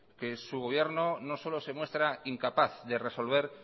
que su gobierno no solo se muestra incapaz de resolver